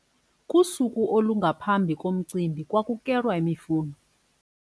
Kusuku olungaphambi komcimbi kwakukelwa imifuno.